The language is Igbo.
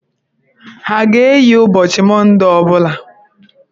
Ha a ga-eyi ụbọchị Mondee ọ bụla?